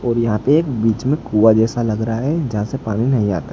और यहां पे एक बीच में कुआं जैसा लग रहा है जहां से पानी नहीं आता।